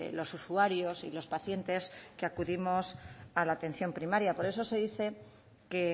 los usuarios y los pacientes que acudimos a la atención primaria por eso se dice que